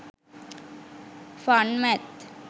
fun math